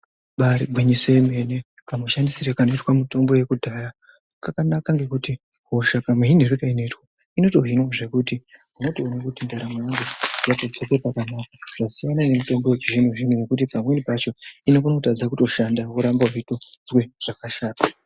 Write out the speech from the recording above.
Imbari gwinyiso yomene kamushandisirwe kanoitwe mitombo yekudhaya kakanaka ngekuti hosha kamuhinirwe kainoitwa inotohinwa zvekuti unotoona kuti ndaramo yangu yadzoserwe pakanaka yasiyana nemitombo yechizvino zvino yekuti pamweni pacho inokone kutadza kutoshanda worambe weitozwe zvakashata.